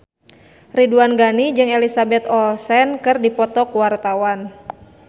Ridwan Ghani jeung Elizabeth Olsen keur dipoto ku wartawan